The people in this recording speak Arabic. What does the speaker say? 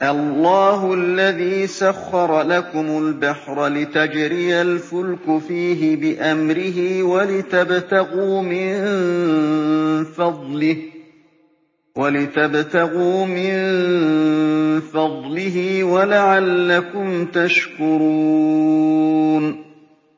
۞ اللَّهُ الَّذِي سَخَّرَ لَكُمُ الْبَحْرَ لِتَجْرِيَ الْفُلْكُ فِيهِ بِأَمْرِهِ وَلِتَبْتَغُوا مِن فَضْلِهِ وَلَعَلَّكُمْ تَشْكُرُونَ